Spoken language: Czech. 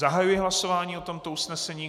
Zahajuji hlasování o tomto usnesení.